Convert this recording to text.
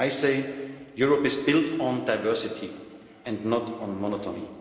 I say Europe is built on diversity and not on